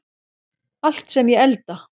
Allt sem ég elda.